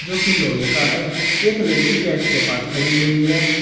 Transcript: जो की लोहे का है एक लड़की गेट के पास खड़ी हुई है।